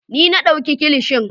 Ni na dauka kilishin.